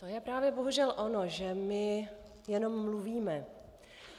To je právě bohužel ono, že my jenom mluvíme.